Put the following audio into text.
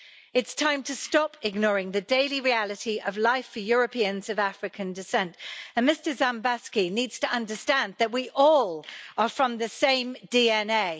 It's time to stop ignoring the daily reality of life for Europeans of African descent and Mr Dzhambazki needs to understand that we all are from the same DNA.